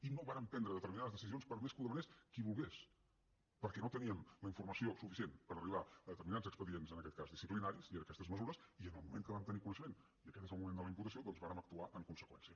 i no vàrem prendre determinades decisions per més que ho demanés qui volgués perquè no teníem la informació suficient per arribar a determinats expedients en aquest cas disciplinaris i a aquestes mesures i en el moment que en vam tenir coneixement i aquest és el moment de la imputació doncs vàrem actuar en conseqüència